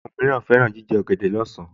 Àwọn mìíràn fẹ́ràn jíjẹ ọ̀gẹ̀dẹ̀ lọ́sàn-án